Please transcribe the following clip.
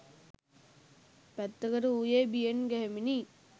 පැත්තකට වූයේ බියෙන් ගැහෙමිනි